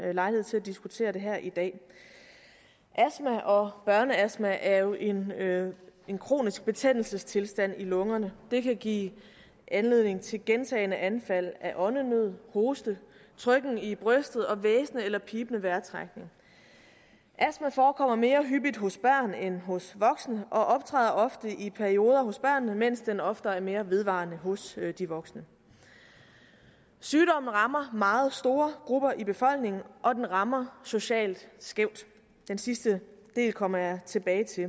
har lejlighed til at diskutere det her i dag astma og børneastma er jo en en kronisk betændelsestilstand i lungerne det kan give anledning til gentagne anfald af åndenød hoste trykken i brystet og hvæsende eller pibende vejrtrækning astma forekommer mere hyppigt hos børn end hos voksne og optræder ofte i perioder hos børn mens den oftere er mere vedvarende hos voksne sygdommen rammer meget store grupper i befolkningen og den rammer socialt skævt den sidste del kommer jeg tilbage til